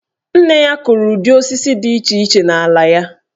Nne ya kụrụ ụdị osisi dị iche iche n'ala ya.